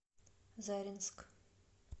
заринск